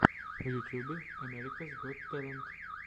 в ютьюбе америкас гот тэлент